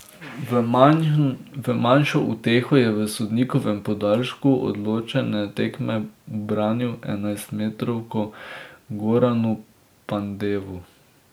V manjšo uteho je v sodnikovem podaljšku odločene tekme ubranil enajstmetrovko Goranu Pandevu.